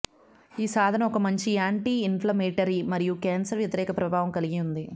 ఈ సాధనం ఒక మంచి యాంటీ ఇన్ఫ్లమేటరీ మరియు క్యాన్సర్ వ్యతిరేక ప్రభావం కలిగి ఉంది